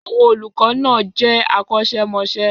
Àwọn olùkọ́ náà jẹ́ akọ́ṣẹ́mọṣẹ́.